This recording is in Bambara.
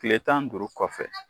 Tile tan ni duuru kɔfɛ